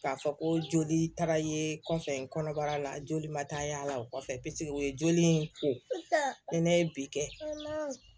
K'a fɔ ko joli taara ye kɔfɛ kɔnɔbara la joli ma taa y'a la o kɔfɛ peseke o ye joli in ko ni ne ye bi kɛ